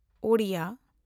Odia (Oriya)